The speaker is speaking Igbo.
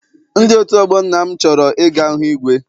Ndị otu ọgbọ nna m chọrọ I ga hụ igwe.